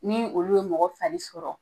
Ni olu ye mɔgɔ fari sɔrɔ